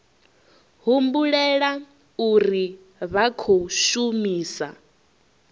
humbulela uri vha khou shumisa